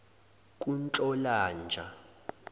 kunhlolanja